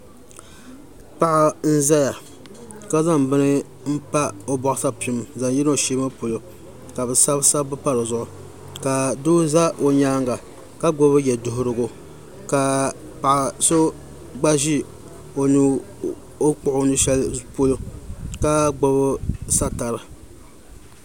Paɣa n ƶɛya ka zaŋ bini n pa o boɣu sapim zaŋ yina o shee ŋo polo ka bi sabi sabbu pa dizuɣu ka doo ʒɛ o nyaanga ka gbubi yɛduɣurigu ka paɣa so gba ʒi o ni kpuɣi o nu shɛli zuɣu maa ka gbubi satari